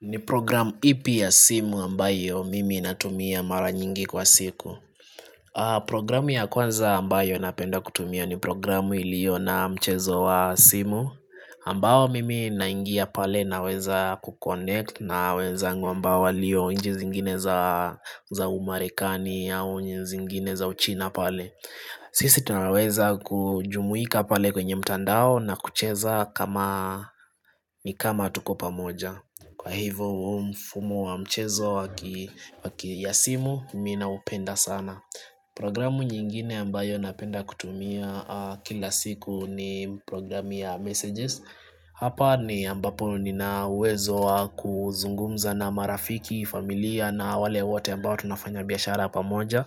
Ni program ipi ya simu ambayo mimi natumia mara nyingi kwa siku? Programu ya kwanza ambayo napenda kutumia ni programu iliyo na mchezo wa simu ambayo mimi naingia pale naweza kuconnect na wezangu ambao waliyo nchi zingine za umarekani au zingine za uchina pale Sisi tunawaweza kujumuika pale kwenye mtandao na kucheza kama ni kama tuko pamoja. Kwa hivyo huu mfumu wa mchezo waki ya simu, mi naupenda sana Programu nyingine ambayo napenda kutumia kila siku ni programu ya messages Hapa ni ambapo nina uwezo wa kuzungumza na marafiki, familia na wale wote ambao tunafanya biashara pamoja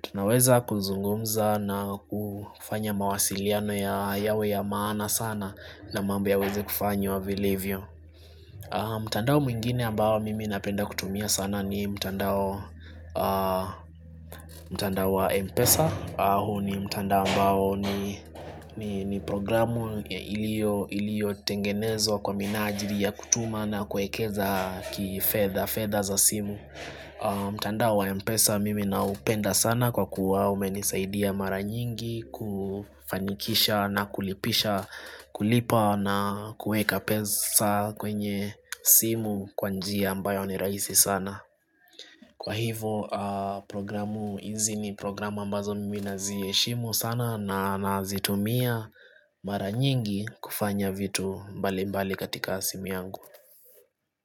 Tunaweza kuzungumza na kufanya mawasiliano ya yawe ya maana sana na mambo yaweze kufanywa vilivyo mtandao mwingine ambao mimi napenda kutumia sana ni mtandao, mtandao wa M-Pesa huo ni mtandao ambao ni programu iliyotengenezwa kwa minajili ya kutuma na kuwekeza kifedha, fedha za simu mtandao wa M-Pesa mimi naupenda sana kwa kuwa umenisaidia mara nyingi kufanikisha na kulipisha kulipa na kuweka pesa kwenye simu kwa njia ambayo ni rahisi sana. Kwa hivo programu hizi ni programu ambazo mimi naziheshimu sana na nazitumia mara nyingi kufanya vitu mbali mbali katika simu yangu.